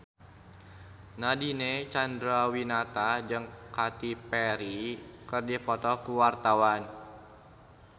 Nadine Chandrawinata jeung Katy Perry keur dipoto ku wartawan